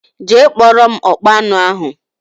Jee kpọrọ m ọkpa aṅụ ahụ!!!!